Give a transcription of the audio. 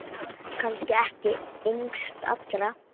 Kannski ekki yngst allra.